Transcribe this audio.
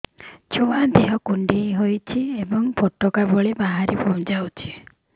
ଛୁଆ ଦେହ କୁଣ୍ଡେଇ ହଉଛି ଏବଂ ଫୁଟୁକା ଭଳି ବାହାରିଯାଉଛି